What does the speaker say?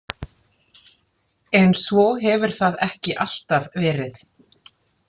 En svo hefur það ekki alltaf verið.